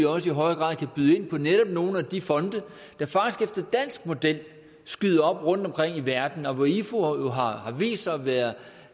også i højere grad kan byde ind på netop nogle af de fonde der faktisk efter dansk model skyder op rundtomkring i verden og hvor ifu har har vist sig at være